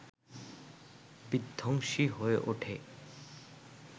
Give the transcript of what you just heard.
বিধ্বংসী হয়ে ওঠে